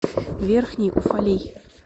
верхний уфалей